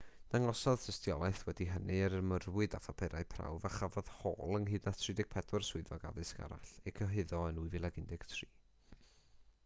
dangosodd tystiolaeth wedi hynny yr ymyrrwyd â phapurau prawf a chafodd hall ynghyd a 34 swyddog addysg arall eu cyhuddo yn 2013